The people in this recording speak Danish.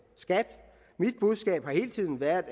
skat mit budskab har hele tiden været